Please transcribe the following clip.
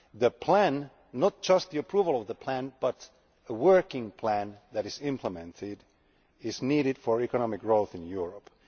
The plan not just the approval of the plan but the working plan that is implemented is needed for economic growth in Europe.